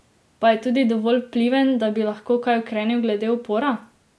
Pa je tudi dovolj vpliven, da bi lahko kaj ukrenil glede upora?